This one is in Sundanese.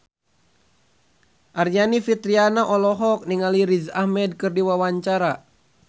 Aryani Fitriana olohok ningali Riz Ahmed keur diwawancara